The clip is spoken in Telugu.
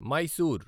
మైసూర్